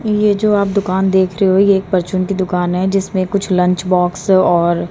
ये जो आप दुकान देख रहे हो ये एक परचून की दुकान हैं जिसमें कुछ लंच बॉक्स और--